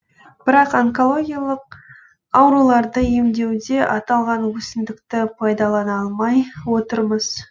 бірақ онкологиялық ауруларды емдеуде аталған өсімдікті пайдалана алмай отырмыз